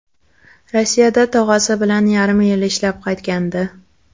Rossiyada tog‘asi bilan yarim yil ishlab qaytgandi.